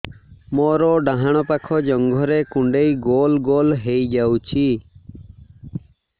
ମୋର ଡାହାଣ ପାଖ ଜଙ୍ଘରେ କୁଣ୍ଡେଇ ଗୋଲ ଗୋଲ ହେଇଯାଉଛି